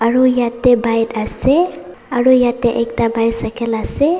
aru yate bike ase aru yate ekta bycycle ase.